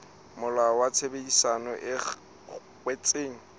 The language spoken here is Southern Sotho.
molao wa tshebedisano e kwetsweng